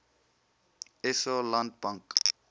sa land bank